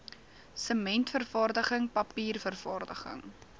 sementvervaardiging papier vervaardiging